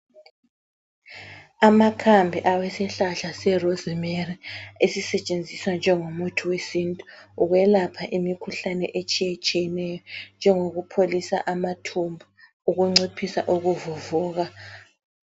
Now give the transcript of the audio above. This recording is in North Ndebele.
Amakhambi awesihlahla serozimeri esisetshenziswa njengomuthi wesintu ukwelapha imikhuhlane etshiyetshiyeneyo njengokupholisa amathumba ukunciphisa ukuvuvuka .